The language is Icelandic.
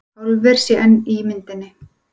Álver sé enn í myndinni